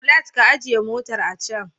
Bolaj ka ajiye motar a can.